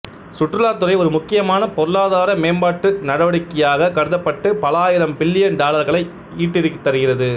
சுற்றுலாத்துறை ஒரு முக்கியமான பொருளாதார மேம்பாட்டு நடவடிக்கையாகக் கருதப்பட்டு பல ஆயிரம் பில்லியன் டாலர்களை ஈட்டித்தருகிறது